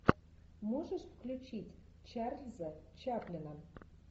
можешь включить чарльза чаплина